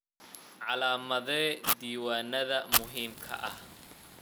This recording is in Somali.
Calaamadee diiwaannada muhiimka ah.